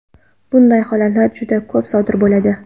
Bunday holatlar juda ko‘p sodir bo‘ladi.